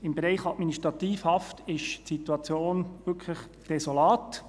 Im Bereich Administrativhaft ist die Situation wirklich desolat.